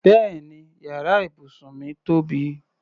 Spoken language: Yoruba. Bẹ́ẹ̀ni yàrá ibùsùn mí tóbi.